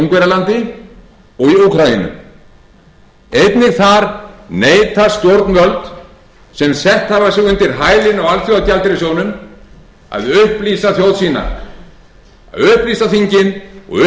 ungverjalandi og í úkraínu einnig þar neita stjórnvöld sem sett hafa sig undir hælinn á alþjóðagjaldeyrissjóðnum að upplýsa þingin og